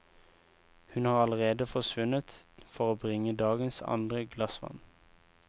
Hun har allerede forsvunnet for å bringe dagens andre glass vann.